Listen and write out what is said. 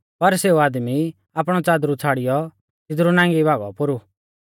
पर सौ आदमी आपणौ च़ादरू छ़ाड़ियौ तिदरु नांगी भागौ पोरु